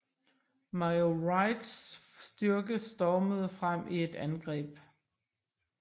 Major Wrights styrke stormede frem i et angreb